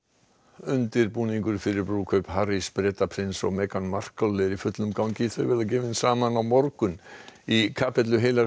undirbúningur fyrir brúðkaup Harrys Bretaprins og Meghan Markle er í fullum gangi þau verða gefin saman á morgun í kapellu heilags